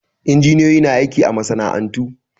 Injiniyoyi na aiki a masana'antu